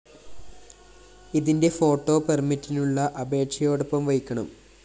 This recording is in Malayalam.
ഇതിന്റെ ഫോട്ടോ പെര്‍മിറ്റിനുള്ള അപേക്ഷയോടൊപ്പം വയ്ക്കണം